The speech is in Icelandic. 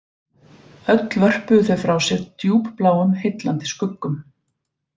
Öll vörpuðu þau frá sér djúpbláum heillandi skuggum